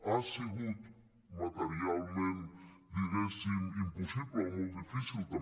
ha sigut materialment diguéssim impossible o molt difícil també